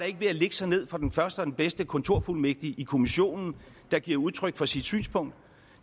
ikke ved at lægge sig ned for den første den bedste kontorfuldmægtig i kommissionen der giver udtryk for sit synspunkt